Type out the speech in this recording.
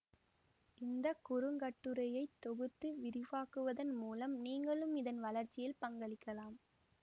இந்த குறுங்கட்டுரையை தொகுத்து விரிவாக்குவதன் மூலம் நீங்களும் இதன் வளர்ச்சியில் பங்களிக்கலாம்